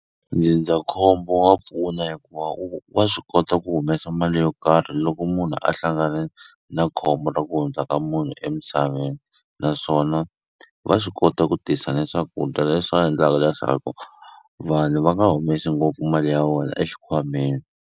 Ndzindzakhombo wa pfuna hikuva wa swi kota ku humesa mali yo karhi loko munhu a hlangane na khombo ra ku hundza ka munhu emisaveni naswona va swi kota ku tisa ni swakudya leswi endlaka leswaku vanhu va nga humesi ngopfu mali ya vona exikhwameni.